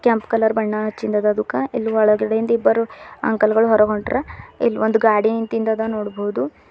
ಕೆಂಪು ಕಲರ್ ಬಣ್ಣ ಅಚ್ಚಿಂದದುಕ ಇಲ್ ಒಳಗಡೆಯಿಂದ ಇಬ್ಬರು ಅಂಕಲ್ ಗಳು ಹೊರಗ್ ಹೊಂಟಾರ ಇಲ್ ಒಂದ್ ಗಾಡಿ ನಿಂತಿಂದದ ನೋಡ್ಬೋದು.